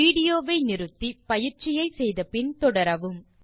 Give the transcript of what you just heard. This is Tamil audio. வீடியோ வை நிறுத்தி பயிற்சியை முடித்த பின் தொடரவும்